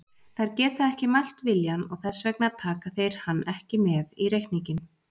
Þeir geta ekki mælt viljann, og þess vegna taka þeir hann ekki með í reikninginn.